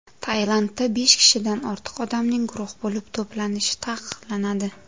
Tailandda besh kishidan ortiq odamning guruh bo‘lib to‘planishi taqiqlanadi.